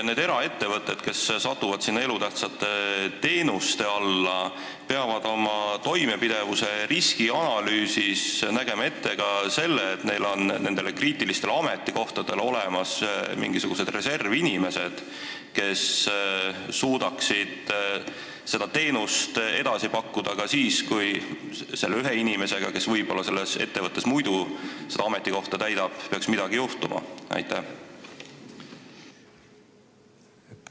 Kas eraettevõtted, kes satuvad elutähtsa teenuse osutajate hulka, peavad oma toimepidevuse riskianalüüsis nägema ette ka selle, et neil on nendele kriitilistele ametikohtadele olemas mingisugused reservinimesed, kes suudaksid seda teenust pakkuda ka siis, kui selle ühe inimesega, kes võib-olla selles ettevõttes muidu seda ametikohta täidab, peaks midagi juhtuma?